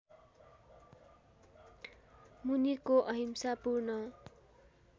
मुनिको अहिंसा पूर्ण